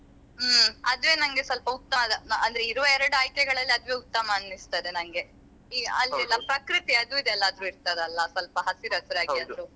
ಹ್ಮ್ ಆದ್ರೆ ನನ್ಗೆ ಸ್ವಲ್ಪ ಉತ್ತಮ ಅಂದ್ರೆ ಇರುವ ಎರಡು ಆಯ್ಕೆಗಳಲ್ಲಿ ಅದುವೆ ಉತ್ತಮ ಅನಿಸ್ತದೆ ನನ್ಗೆ ಈ ಅಲ್ಲಿ ಎಲ್ಲ ಪ್ರಕೃತಿ ಅದು ಇದು ಎಲ್ಲ ಇರ್ತದಲ್ಲ ಸ್ವಲ್ಪ ಹಸಿರಸಿರಾಗಿ ಅದು.